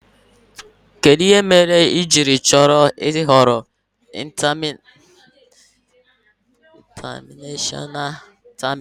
Kedu ihe mere ị jiri chọrọ ị ghọrọ ịntanashọna tamina?